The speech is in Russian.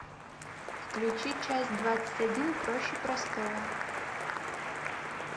включи часть двадцать один проще простого